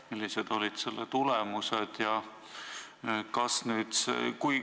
Millised olid selle tulemused?